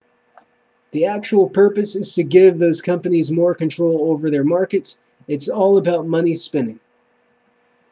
the actual purpose is to give those companies more control over their markets it's all about money spinning